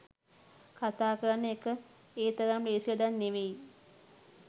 කතා කරන එක ඒ තරම් ලේසි වැඩක් නෙවෙයි